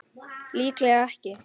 Líklega ekki.